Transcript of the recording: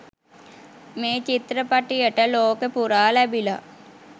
මේ චිත්‍රපටියට ලෝකෙ පුරා ලැබිල